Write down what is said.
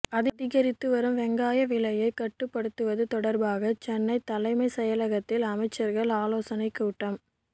அதிகரித்து வரும் வெங்காய விலையை கட்டுப்படுத்துவது தொடர்பாக சென்னை தலைமைச் செயலகத்தில் அமைச்சர்கள் ஆலோசனைக் கூட்டம்